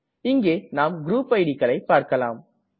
இங்கே நாம் குரூப் idக்களை பார்க்களாம்